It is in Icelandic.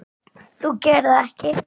Þú gerir það ekki!